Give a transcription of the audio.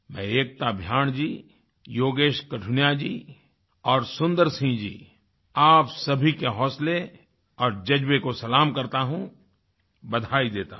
मैं एकता भयान जी योगेश कठुनिया जी और सुंदर सिंह जी आप सभी के हौसले और ज़ज्बे को सलाम करता हूँ बधाई देता हूँ